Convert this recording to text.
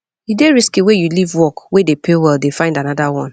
e dey risky sey you leave work wey dey pay well dey find anoda one